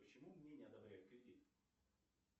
почему мне не одобряют кредит